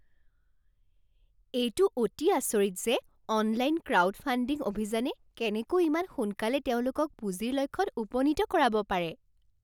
এইটো অতি আচৰিত যে অনলাইন ক্ৰাউডফাণ্ডিং অভিযানে কেনেকৈ ইমান সোনকালে তেওঁলোকক পুঁজিৰ লক্ষ্যত উপনীত কৰাব পাৰে।